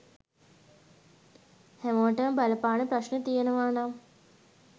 හැමෝටම බලපාන ප්‍රශ්න තියෙනව නම්